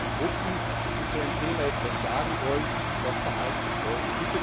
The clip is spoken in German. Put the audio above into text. wie Gruppen, die zu einem Thema etwas sagen wollen, sich verhalten sollen.